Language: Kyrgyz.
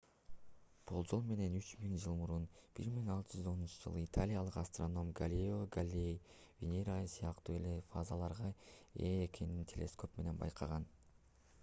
болжол менен үч миң жыл мурун 1610-жылы италиялык астроном галилео галилей венера ай сыяктуу эле фазаларга ээ экенин телескоп менен байкаган